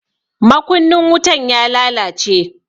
Makunnin wutan ya lalace.